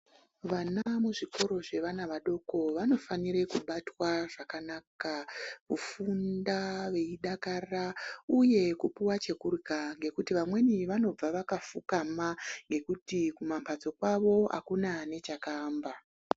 Vana muzvikora zvevana vadoko vanofanira kubatwa zvakanaka kufunda veidakara uye kupuwa chekurla ngekuti vamweni vanobva vakafukama ngekuti kumambatso kwavo akuna nechekuamba